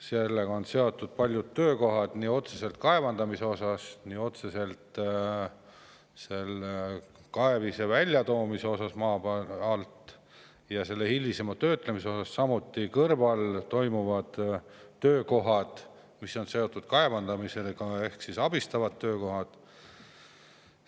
Sellega on seotud paljud tööd, otseselt nii kaevandamine, kaevise maa alt väljatoomine kui ka selle hilisem töötlemine, samuti on kaevandamisega seotud abistavad töökohad.